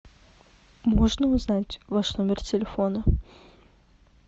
можно узнать ваш номер телефона